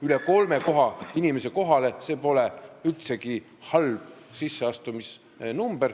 Üle kolme inimese kohale – see pole üldsegi halb näitaja.